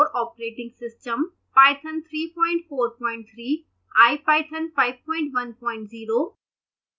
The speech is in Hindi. python 343 और ipython 510